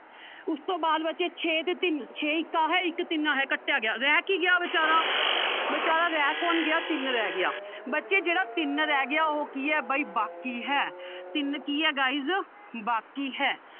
ਉਸਤੋਂ ਬਾਅਦ ਬੱਚੇ ਛੇ ਤੇ ਤਿੰਨ ਛੇ ਇੱਕ ਆਹ ਇੱਕ ਤਿੰਨ ਆਹ ਕੱਟਿਆ ਗਿਆ ਰਹਿ ਕੀ ਗਿਆ ਬੇਚਾਰਾ ਬੇਚਾਰਾ ਰਹਿ ਕੌਣ ਗਿਆ ਤਿੰਨ ਰਹਿ ਗਿਆ ਬੱਚੇ ਜਿਹੜਾ ਤਿੰਨ ਰਹਿ ਗਿਆ ਉਹ ਕੀ ਹੈ ਬਾਈ ਬਾਕੀ ਹੈ ਤਿੰਨ ਕੀ ਹੈ guys ਬਾਕੀ ਹੈ